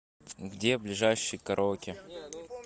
где ближайший караоке